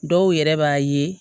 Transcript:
Dɔw yɛrɛ b'a ye